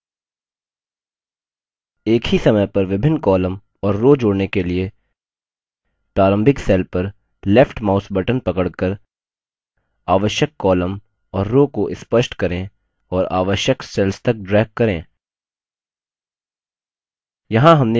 एक ही समय पर विभिन्न columns और rows जोड़ने के लिए प्रारंभिक cell पर left mouse button पकड़कर आवश्यक columns और rows को स्पष्ट करें और आवश्यक cell तक ड्रैग करें